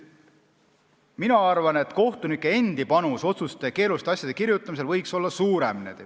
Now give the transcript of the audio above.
Mina arvan, et kohtunike endi panus otsuste ja keeruliste kohtuasjade kirjutamisel võiks olla suurem.